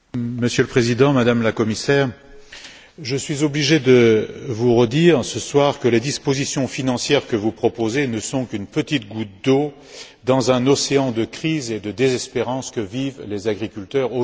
Monsieur le Président, Madame la Commissaire, je suis obligé de vous redire, ce soir, que les dispositions financières que vous proposez ne sont qu'une petite goutte d'eau dans l'océan de crise et de désespérance dans lequel vivent aujourd'hui les agriculteurs.